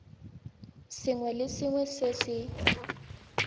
sengwe le sengwe se se